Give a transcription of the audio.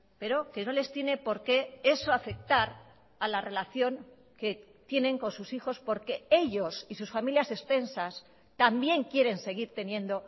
pero que no les tiene por qué eso afectar a la relación que tienen con sus hijos porque ellos y sus familias extensas también quieren seguir teniendo